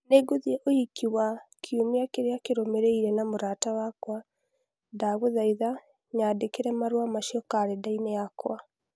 Nĩngũthiĩ ũhiki wa Lily kiumia kĩrĩa kĩrũmĩrĩire na mũrata wakwa. Ndagũthaitha nyandĩkĩre marũa macio kalendaini yakwa.